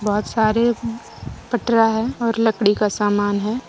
बहुत सारे पटरा है और लकड़ी का समान है।